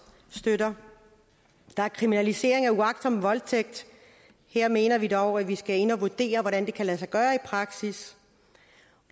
støtter der er kriminalisering af uagtsom voldtægt her mener vi dog at vi skal ind at vurdere hvordan det kan lade sig gøre i praksis